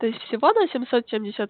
то есть всего на семьсот семьдесят